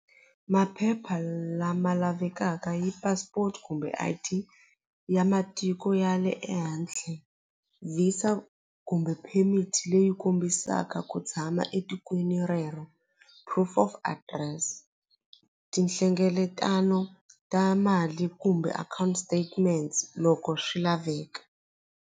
Maphepha lama lavekaka yi passport kumbe I_D ya matiko ya le ehandle VISA kumbe permit leyi kombisaka ku tshama etikweni rero proof of address tinhlengeletano ta mali kumbe account statements loko swi laveka.